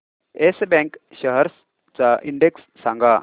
yes bank shares चा index सांगा